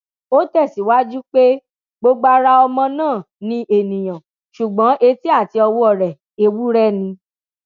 ó tẹsíwájú pé gbogbo ara ọmọ náà ni ènìyàn ṣùgbọn etí àti ọwọ rẹ ewúrẹ ni